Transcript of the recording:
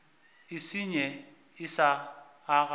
e senye e sa aga